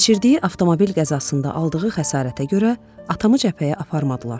Keçirdiyi avtomobil qəzasında aldığı xəsarətə görə atamı cəbhəyə aparmadılar.